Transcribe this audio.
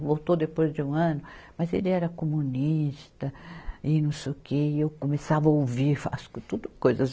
Voltou depois de um ano, mas ele era comunista e não sei o que, e eu começava a ouvir, fa, as coisas tudo, coisas